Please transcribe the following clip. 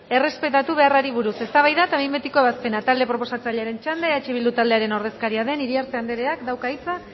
errespetatu beharrari buruz eztabaida eta behin betiko ebazpena talde proposatzailearen txanda eh bildu taldearen ordezkaria den iriarte andereak dauka hitza